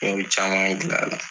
Ne bi caman gilan la.